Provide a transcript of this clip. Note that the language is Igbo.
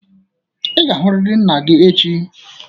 Ị ga-ahụrịrị nna gị echi!